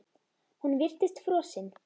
Hún virtist frosin.